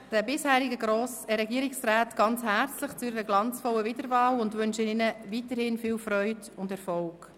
Ich gratuliere den bisherigen Regierungsräten sehr herzlich zur glanzvollen Wiederwahl und wünsche ihnen auch weiterhin viel Freude und Erfolg.